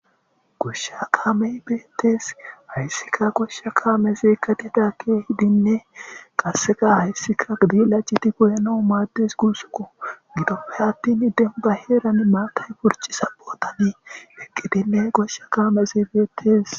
Goshshaa kaamee beeththees;hayssika guyekka mize kathidaagee keehidinne qassika hayssika gade laaccidi goyanawu maaddes guusakoo;gidoppe aththini dembba heerani maathay purcciza bothani eqqidinne goshshakka mayizi beeththees.